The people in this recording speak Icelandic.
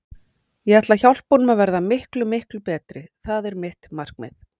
Ég ætla að hjálpa honum að verða miklu, miklu betri, það er mitt markmið.